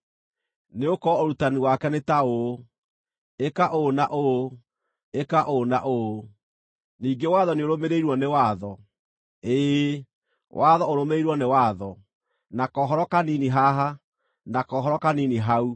Nĩgũkorwo ũrutani wake nĩ ta ũũ: ĩka ũũ na ũũ, ĩka ũũ na ũũ, ningĩ watho nĩũrũmĩrĩirwo nĩ watho, ĩĩ, watho ũrũmĩrĩirwo nĩ watho; na kohoro kanini haha, na kohoro kanini hau.”